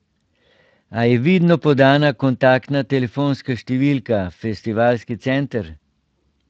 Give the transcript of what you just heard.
Ali je vidno podana kontaktna telefonska številka, festivalski center?